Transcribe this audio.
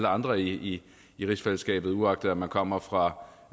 andre i i rigsfællesskabet uagtet man kommer fra